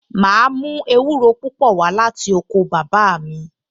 Màá mú ewúro púpò wá láti oko bàbá mi